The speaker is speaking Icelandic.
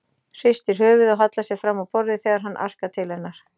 Hristir höfuðið og hallar sér fram á borðið þegar hann arkar til hennar.